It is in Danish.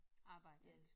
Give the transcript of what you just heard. Arbejder i